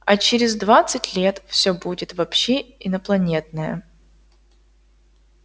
а через двадцать лет всё будет вообще инопланетное